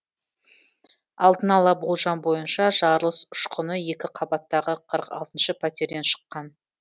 алдын ала болжам бойынша жарылыс ұшқыны екі қабаттағы қырық алтыншы пәтерден шыққан